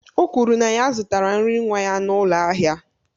O kwuru na ya zụtara nri nwa ya n'ụlọ ahịa